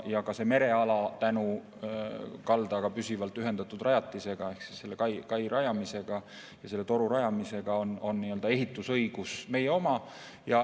Ka sel merealal on tänu kaldaga püsivalt ühendatud rajatise ehk kai rajamisele ja selle toru rajamisele ehitusõigus meie oma.